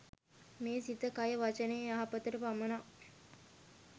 මේ සිත, කය, වචනය, යහපතට පමණක්